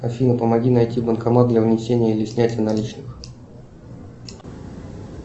афина помоги найти банкомат для внесения или снятия наличных